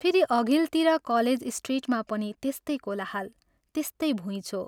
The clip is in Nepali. फेरि अघिल्तिर कलेज स्ट्रिटमा पनि त्यस्तै कोलाहल, त्यस्तै भुइँचो।